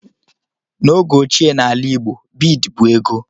N'oge óchiè n'ala igbo, bịịd bụ ego.